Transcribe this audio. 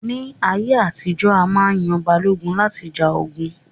Ní ayé àtijọ́, a má yan àwọn Balógun láti ja ogun